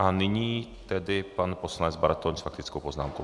A nyní tedy pan poslanec Bartoň s faktickou poznámkou.